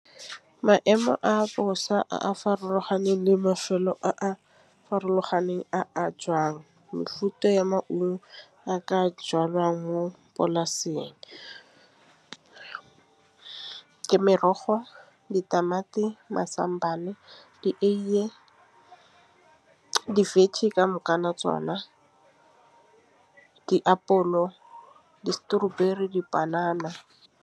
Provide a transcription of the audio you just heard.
Maemo a bosa a a farologaneng le mafelo farologaneng a jwang mefuta ya maungo a ka jwalwang mo polaseng. Ke merogo, ditamati, mazambane, dieye, di-veggie tsona. Diapolo, di-strawberry, dipanana.